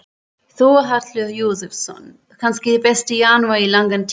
Þórhallur Jósefsson: Kannski besti janúar í langan tíma?